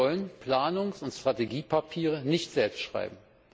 Wir wollen Planungs und Strategiepapiere nicht selbst schreiben.